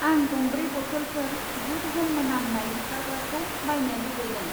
आं गंब्रै बथ'लफोर गुड ह'म मोनामनाय होखारग्राखौ बायनो लुबैदों।